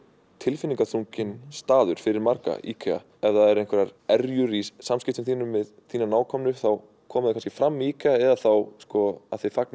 tilfinningaþrungin staður fyrir marga IKEA ef það eru einhverjar erjur í samskiptum þínum við þína nákomnu þá koma þau kannski fram í IKEA eða þá að þið